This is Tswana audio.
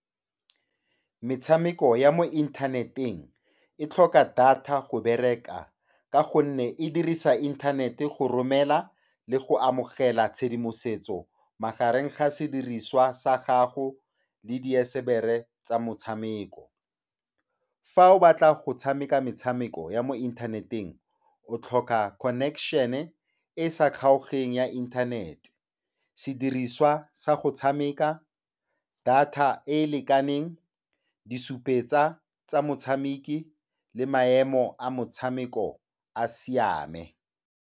Metshameko ya mo inthaneteng e tlhoka data go bereka ka gonne e dirisa inthanete go romela le go amogela tshedimosetso magareng ga sediriswa sa gago le diesebere tsa motshameko. Fa o batla go tshameka metshameko ya mo inthaneteng o tlhoka connection-e e e sa kgaoganeng ya internet-e, sediriswa sa go tshameka, data e e lekaneng, disupetsa tsa motshameki le maemo a motshameko a siame.